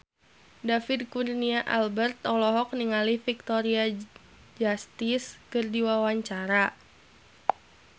David Kurnia Albert olohok ningali Victoria Justice keur diwawancara